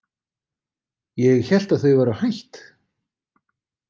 Ég hélt að þau væru hætt.